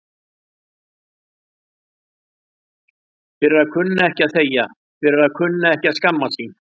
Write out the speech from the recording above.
Fyrir að kunna ekki að þegja, fyrir að kunna ekki að skammast sín.